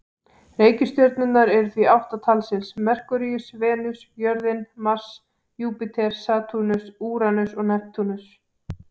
Reikistjörnurnar eru því átta talsins: Merkúríus, Venus, jörðin, Mars, Júpíter, Satúrnus, Úranus og Neptúnus.